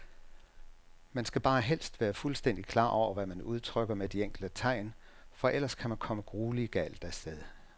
Man skal bare helst være fuldstændigt klar over, hvad man udtrykker med de enkelte tegn, for ellers kan man komme grueligt galt af sted.